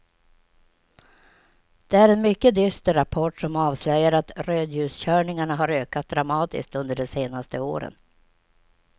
Det är en mycket dyster rapport som avslöjar att rödljuskörningarna har ökat dramatiskt under de senaste åren.